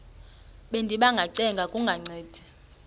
bendiba ngacenga kungancedi